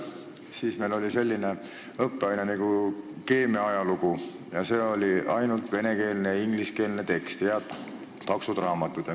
Siis meil oli selline õppeaine nagu keemia ajalugu, ainult venekeelne ja ingliskeelne tekst, head paksud raamatud.